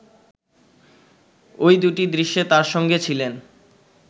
ওই দুটি দৃশ্যে তার সঙ্গে ছিলেন